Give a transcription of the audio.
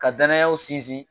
Ka danayaw sinsin